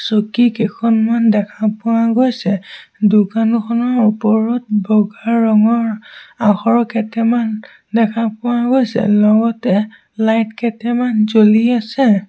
চকী কেইখনমান দেখা পোৱা গৈছে দোকানখনৰ ওপৰত বগা ৰঙৰ আখৰ কেটেমান দেখা পোৱা গৈছে লগতে লাইট কেটেমান জ্বলি আছে।